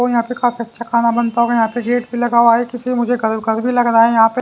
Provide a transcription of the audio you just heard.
और यहां पे काफी अच्छा खाना बनता होगा। यहां पे गेट भी लगा हुआ है किसी ने मुझे कल भी लग रहा है यहां पे।